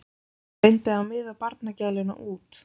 Reyndi að miða barnagæluna út.